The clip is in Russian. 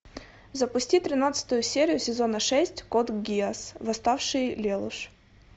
запусти тринадцатую серию сезона шесть код гиасс восставший лелуш